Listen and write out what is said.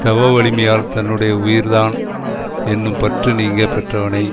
தவ வலிமையால் தன்னுடைய உயிர் தான் என்னும் பற்று நீங்க பெற்றவனை